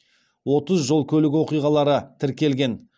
отыз жол көлік оқиғалары тіркелген